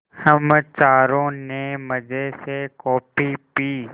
हम चारों ने मज़े से कॉफ़ी पी